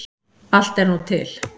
Allt er nú til.